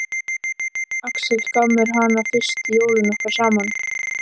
Axel gaf mér hana fyrstu jólin okkar saman.